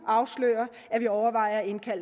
er